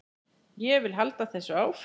Ég vil halda þessu áfram.